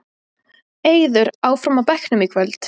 Eiður áfram á bekknum í kvöld